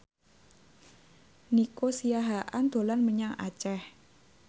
Nico Siahaan dolan menyang Aceh